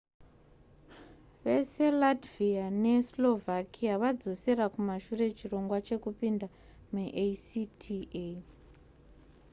vese latvia neslovakia vadzosera kumashure chirongwa chekupinda muacta